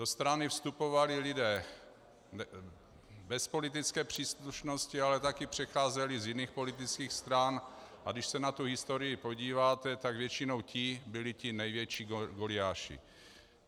Do strany vstupovali lidé bez politické příslušnosti, ale také přecházeli z jiných politických stran, a když se na tu historii podíváte, tak většinou ti byli ti největší goliáši.